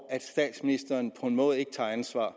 at statsministeren på en måde ikke tager ansvar